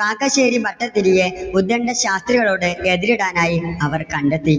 കാക്കശ്ശേരി ഭട്ടതിരിയെ ഉത്ഗണ്ട ശാസ്ത്രികളോട് എതിരിടാൻ ആയി അവർ കണ്ടെത്തി.